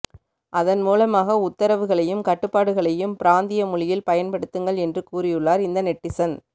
அதன்மூலமாக உத்தரவுகளையும் கட்டுப்பாடுகளையும் பிராந்திய மொழியில் பயன்படுத்துங்கள் என்று கூறியுள்ளார் இந்த நெட்டிசன்